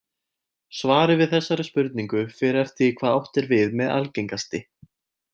Svarið við þessari spurningu fer eftir því hvað átt er við með algengasti.